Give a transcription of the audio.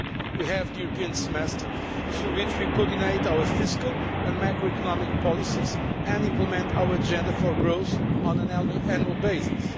We have the European Semester, through which we coordinate our fiscal and macroeconomic policies and implement our agenda for growth on an annual basis.